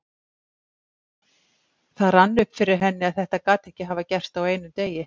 Og það rann upp fyrir henni að þetta gat ekki hafa gerst á einum degi.